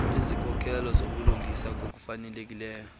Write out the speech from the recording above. kwizikhokhelo zobulungisa ukufaneleka